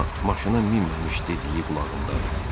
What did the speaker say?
amma maşına minməmiş dediyi qulağındadır.